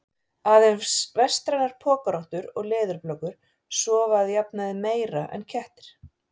Aðeins vestrænar pokarottur og leðurblökur sofa að jafnaði meira en kettir.